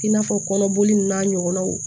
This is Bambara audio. I n'a fɔ kɔnɔboli n'a ɲɔgɔnnaw